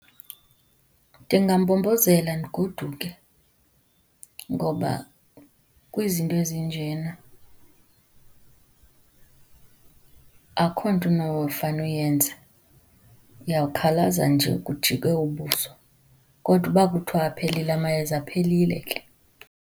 Ndingambombozela, ndigoduke ngoba kwizinto ezinjena akukho nto unofane uyenze, uyawukhalaza nje kujike ubuso. Kodwa uba kuthiwa aphelile amayeza, aphelile ke.